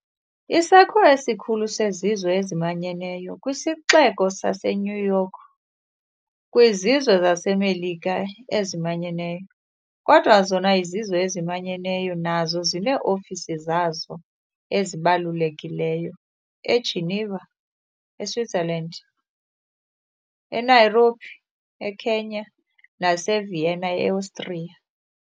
Isakhiwo esikhulu seZizwe eziManyeneyo sikwisixeko saseNewYork kwiZizwe zaseMelika eziManyeneyo, kodwa zona iZizwe eziManyeneyo nazo zinee-ofisi zazo ezibalulekileyo eGeneva, e-Switzerland, e-Nairobi, e-Kenya, nase-Vienna, e-Austria.